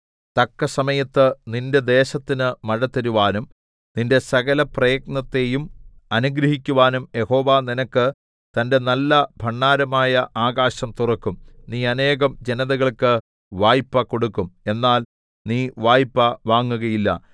തക്കസമയത്ത് നിന്റെ ദേശത്തിന് മഴ തരുവാനും നിന്റെ സകല പ്രയത്നത്തെയും അനുഗ്രഹിക്കുവാനും യഹോവ നിനക്ക് തന്റെ നല്ല ഭണ്ഡാരമായ ആകാശം തുറക്കും നീ അനേകം ജനതകൾക്ക് വായ്പ് കൊടുക്കും എന്നാൽ നീ വായ്പ് വാങ്ങുകയില്ല